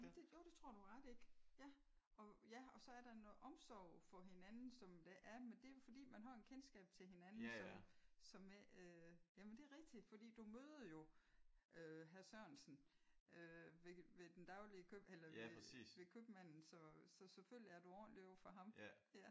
Jo det tror jeg du har ret i. Ja og ja så er der noget omsorg for hinanden som der er men det er fordi man har et kendskab til hinanden som som ikke som ja men det er rigtigt for du møder jo øh hr Sørensen øh ved den daglig køb eller ved ved købmanden så selvfølgelig er du ordentlig over for ham